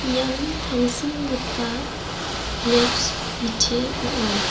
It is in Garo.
ian tangsimgipa greps bite ong·a.